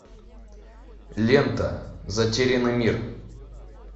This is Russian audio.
лента затерянный мир